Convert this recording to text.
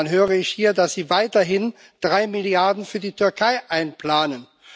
Und dann höre ich hier, dass Sie weiterhin 3 Milliarden Euro für die Türkei einplanen.